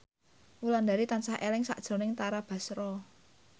Wulandari tansah eling sakjroning Tara Basro